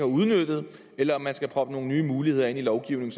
udnyttet eller om der skal proppes nogle nye muligheder ind i lovgivningen